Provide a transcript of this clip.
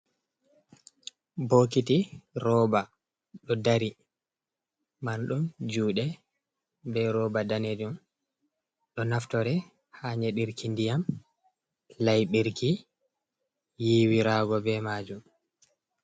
Bokiti rooba ɗo dari marɗum juuɗe, be rooba danejum, ɗo naftore ha nyedirki ndiyam, laiɓirki, yiwirago be majum.